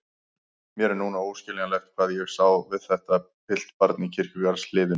Mér er núna óskiljanlegt hvað ég sá við þetta piltbarn í kirkjugarðshliðinu.